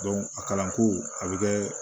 a kalanko a bɛ kɛ